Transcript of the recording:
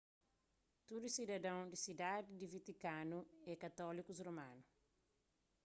tudu sidadon di sidadi di vatikanu é katólikus romanu